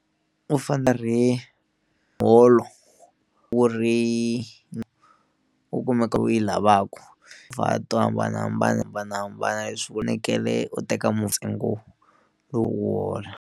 U hi muholo wu ri u kumeka u yi lavaku to hambanahambanahambanahambana leswi u u teka loko u hola.